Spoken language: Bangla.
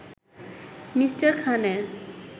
মি. খানের